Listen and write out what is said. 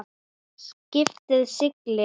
Skipið siglir.